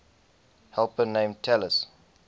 helper named talus